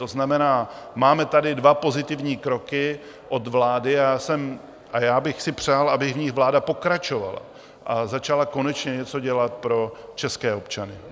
To znamená, máme tady dva pozitivní kroky od vlády a já bych si přál, aby v nich vláda pokračovala a začala konečně něco dělat pro české občany.